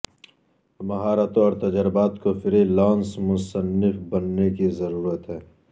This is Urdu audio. مہارتوں اور تجربات کو فری لانس مصنف بننے کی ضرورت ہے